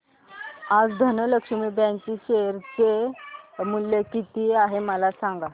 आज धनलक्ष्मी बँक चे शेअर चे मूल्य किती आहे मला सांगा